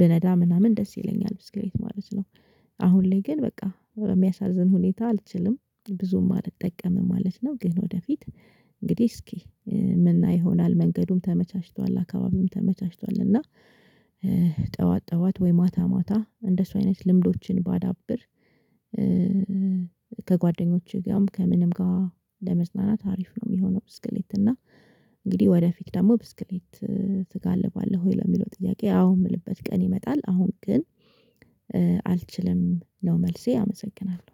ብነዳ ምናምን ደስ ይለኛል ብስክሬት ማለት ነው። አሁን ላይ ግን በቃ በሚያሳዝን ሁኔታ አልችልም ብዙም አልጠቀምም ማለት ነው። ግን ወደፊት እንግዲህ እስኪ ምን ይሆናል መንገዱም ተመቻችቷል አካባቢውም ተመቻችቷል እና ጠዋት ጠዋት ወይ ማታ ማታ እንደሱ አይነት ልምዶችን ባዳብር። ከጓደኞችህ ጋርም ከምንም ጋር ለመዝናናት አሪፍ ነው የሚሆነው። ብስክሌት እና እንግዲህ ወደ ፊት ደግሞ ብስክሌት ትጋልባለህ ወይ ለሚለው ጥያቄ? አዎ የምልበት ቀን ይመጣል። አሁን ግን አልችልም ነው መልሴ አመሰግናለሁ።